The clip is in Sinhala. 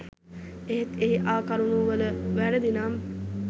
එහෙත් එහි ආ කරුණු වල වැරදි නම්